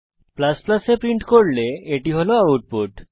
যখন আপনি a print করেন এটি হল আউটপুট